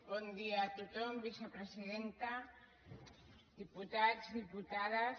bon dia a tothom vicepresidenta diputats diputades